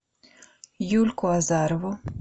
юльку азарову